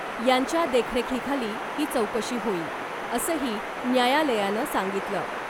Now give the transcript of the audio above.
यांच्या देखरेखीखाली ही चौकशी होईल , असंही न्यायालयानं सांगितलं .